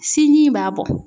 Sinji in b'a bɔ.